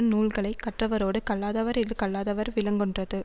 நூல்களை கற்றவரோடு கல்லாதவர் இது கல்லாதார் விலங்கொன்றது